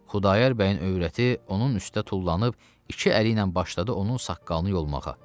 Xudayar bəyin övrəti onun üstə tullanıb iki əli ilə başladı onun saqqalını yolmağa.